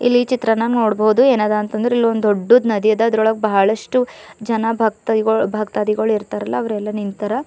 ಇಲ್ಲಿ ಚಿತ್ರಣ ನೋಡ್ಬಹುದು ಏನದ ಅಂತ ಇಲ್ಲೊಂದು ದೊಡ್ಡು ನದಿ ಅದ ಇದ್ರೊಳಗ ಬಹಳಷ್ಟು ಜನ ಭಕ್ತಾದಿಗಳು ಭಕ್ತಾದಿಗಳ್ ಇರ್ತಾರಲ ಅವ್ರೆಲ್ಲ ನಿಂತರ.